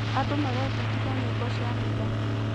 Andũ marebundithia nyĩmbo cia mitha.